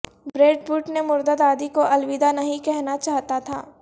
bread Pitt نے مردہ دادی کو الوداع نہیں کہنا چاہتا تھا